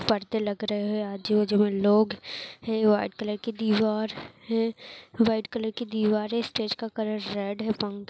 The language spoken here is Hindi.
पर्दे लगे रहे हैं आजु-बाजू मे लोग है वाइट कलर की दीवार है वाइट कलर का दीवार है स्टेज का कलर का रेड है पंख --